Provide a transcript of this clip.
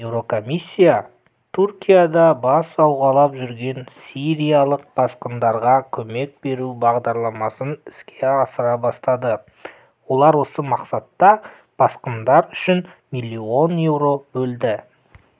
еурокомиссия түркияда бас сауғалап жүрген сириялық босқындарға көмек беру бағдарламасын іске асыра бастады олар осы мақсатта босқындар үшін миллион еуро бөлді